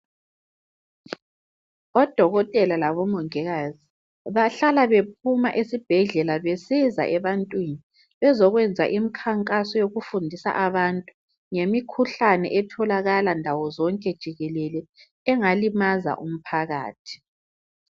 Odokotela labomongikazi bahlala bephuma esibhedlela besiza ebantwini, bezokwenza imikhankaso yokufundisa abantu ngemikhuhlane etholakala ndawozonke jikelele engalimaza umphakathi.